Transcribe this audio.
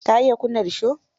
Ka iya kunna risho?